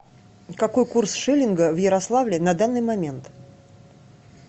какой курс шиллинга в ярославле на данный момент